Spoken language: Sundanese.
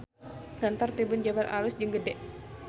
Kantor Tribun Jabar alus jeung gede